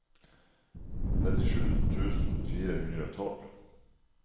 nittisju tusen fire hundre og tolv